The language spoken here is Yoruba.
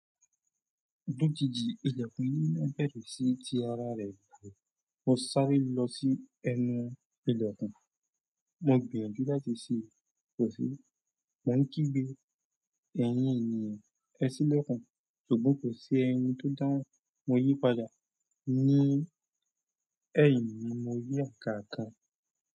Lójijì ilẹ̀kùn yìí ńa berẹ́ sí ti ara rẹ̀ kí o sáré lọ sí ẹnu ilẹ̀kùn. Mo gbìyànjú láti sí i kọ́sí. Mo ń kí gbé ẹ̀yin ènìyàn, ẹ sílẹ̀kùn ṣùgbọ́n kò sí ẹni tó dáhùn. Mo yí padà ní ẹ̀yìn mi mo rí àga kan.